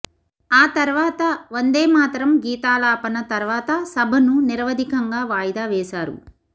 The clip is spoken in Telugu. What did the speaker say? ఆ తర్వాత వందేమాతర గీతాలాపన తర్వాత సభను నిరవధికంగా వాయిదా వేశారు